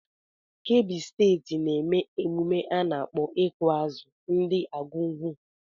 Kebbi steeti na-eme emume a nakpọ ịkụ azụ ndi Argungu.